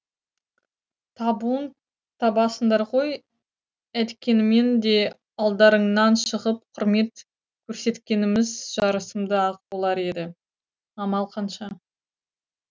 табуын табасыңдар ғой әйткенмен де алдарыңнан шығып құрмет көрсеткеніміз жарасымды ақ болар еді амал қанша